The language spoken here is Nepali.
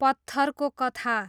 पत्थरको कथा